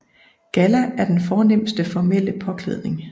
Galla er den fornemste formelle påklædning